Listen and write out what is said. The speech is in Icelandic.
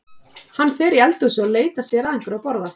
Hann fer í eldhúsið og leitar sér að einhverju að borða.